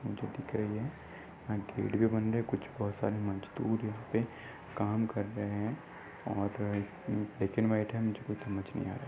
जो दिख रही है यहाँ गेट भी बंद है कुछ बहुत सारे मजदुर यहाँ पे काम कर रहे हैं। और ब्लैक एंड वाइट है मुझे कुछ समझ नही आ रहा है।